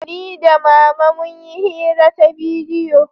Ni da mama mun yi hira ta bidiyo